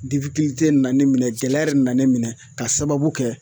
na ne minɛ gɛlɛya yɛrɛ nana ne minɛ ka sababu kɛ